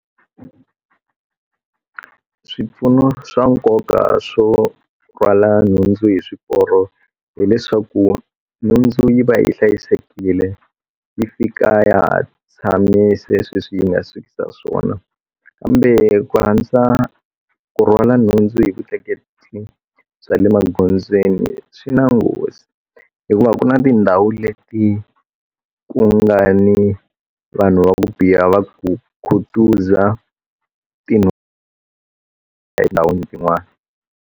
Swipfuno swa nkoka swo rhwala nhundzu hi swiporo hileswaku nhundzu yi va yi hlayisekile yi fika ya ha tshamise sweswiya yi nga sukisa swiswona kambe ku rhangisa ku rhwala nhundzu hi vutleketli bya le magondzweni swi na nghozi hikuva ku na tindhawu leti ku nga ni vanhu va ku biha va ku khutuza tinhundzu etindhawini tin'wana.